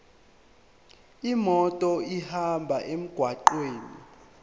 imoto ihambe emgwaqweni